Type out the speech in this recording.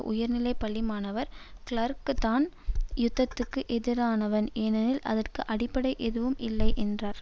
உயர்நிலை பள்ளி மாணவர் கிளார்க் நான் யுத்தத்துக்கு எதிரானவன் ஏனெனில் அதற்கு அடிப்படை எதுவும் இல்லை என்றார்